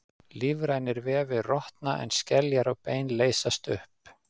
Lífrænir vefir rotna en skeljar og bein leysast upp.